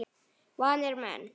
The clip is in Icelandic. Vanir menn.